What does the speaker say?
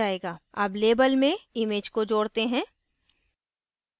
add label में image को जोडते हैं